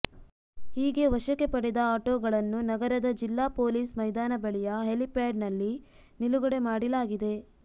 ಹೀಗೆ ವಶಕ್ಕೆ ಪಡೆದ ಆಟೋಗಳನ್ನು ನಗರದ ಜಿಲ್ಲಾ ಪೊಲೀಸ್ ಮೈದಾನ ಬಳಿಯ ಹೆಲಿಪ್ಯಾಡ್ ನಲ್ಲಿ ನಿಲುಗಡೆ ಮಾಡಿಲಾಗಿದೆ